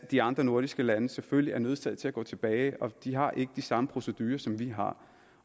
de andre nordiske lande selvfølgelig er nødsaget til at gå tilbage og de har ikke de samme procedurer som vi har